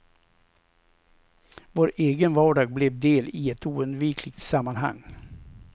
Vår egen vardag blev del i ett oundvikligt sammanhang.